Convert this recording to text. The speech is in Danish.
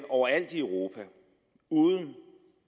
overalt i europa uden